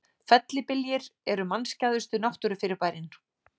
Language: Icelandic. Fellibyljir eru mannskæðustu náttúrufyrirbærin.